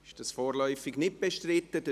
– Dies ist vorläufig nicht bestritten.